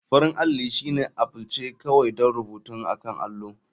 Farin alli shine aplce kawai don rubutu akan allo.